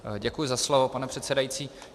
Děkuji za slovo, pane předsedající.